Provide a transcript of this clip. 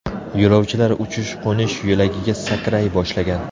Yo‘lovchilar uchish-qo‘nish yo‘lagiga sakray boshlagan.